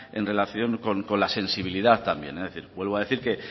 en relación con la sensibilidad también vuelvo a decir me